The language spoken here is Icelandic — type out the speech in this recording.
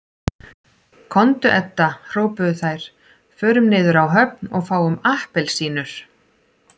Komdu Edda hrópuðu þær, förum niður á höfn og fáum APPELSÍNUR